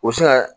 U bɛ se ka